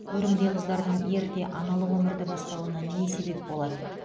өрімдей қыздардың ерте аналық өмірді бастауына не себеп болады